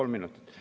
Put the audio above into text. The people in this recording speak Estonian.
Jaa, palun!